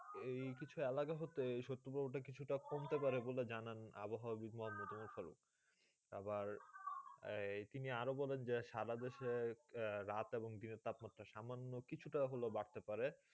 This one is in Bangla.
এই কিছু একলাগা হতে ছোট পর তা কিছু তা কমতে পারে বলে জানেন অভহাব বিদ্বান মোতে ফলক তার পর তিনি আরও কোনো সাদা দেশে রাত গিরি তাপমান এবং তাপমান সামন কিছু তা বাঁধতে পারে